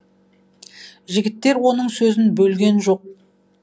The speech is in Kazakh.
жігіттер оның сөзін бөлген жоқ